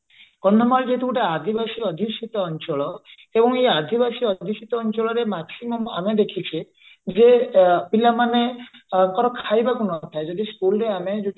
କନ୍ଧମାଳ ଯଦି ଗୋଟେ ଆଦିବାସୀ ଅଧୁଷିତ ଅଞ୍ଚଳ ଏବଂ ଏଇ ଆଦିବାସୀ ଅଧୁଷିତ ଅଞ୍ଚଳରେ maximum ଆମେ ଦେଖିଛେ ଯେ ପିଲାମାନଙ୍କର ଖାଇବାକୁ ନଥାଏ ଯଦି school ରେ ଆମେ